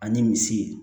Ani misi